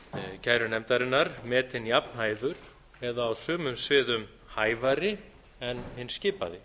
kærunefndarinnar metinn jafnhæfur eða á sumum sviðum hæfari en hinn skipaði